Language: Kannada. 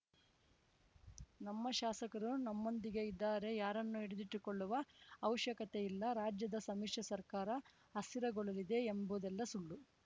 ನಮ್ಮ ಶಾಸಕರು ನಮ್ಮೊಂದಿಗೇ ಇದ್ದಾರೆ ಯಾರನ್ನೂ ಹಿಡಿದಿಟ್ಟುಕೊಳ್ಳುವ ಅವಶ್ಯಕತೆ ಇಲ್ಲ ರಾಜ್ಯದ ಸಮ್ಮಿಶ್ರ ಸರ್ಕಾರ ಅಸ್ಥಿರಗೊಳ್ಳಲಿದೆ ಎಂಬುದೆಲ್ಲ ಸುಳ್ಳು